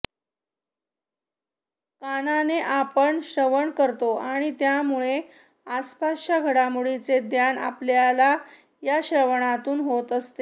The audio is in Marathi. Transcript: कानाने आपण श्रवण करतो आणि त्यामुळे आसपासच्या घडामोडींचे ज्ञान आपल्याला या श्रवणातून होत असते